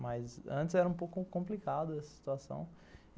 Mas antes era um pouco complicado essa situação.